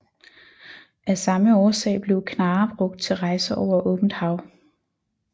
Af samme årsag blev knarrer brugt til rejser over åbent hav